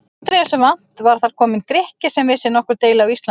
Aldrei þessu vant var þar kominn Grikki sem vissi nokkur deili á Íslandi!